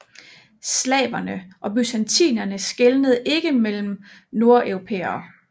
Slavere og bysantinere skelnede ikke mellem nordeuropæere